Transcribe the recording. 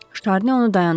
Ştarni onu dayandırdı.